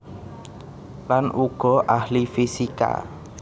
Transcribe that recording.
Land uga ahli fisika